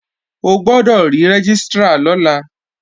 O gbọ́dọ̀ rí Rẹ́gístrà lọ́la!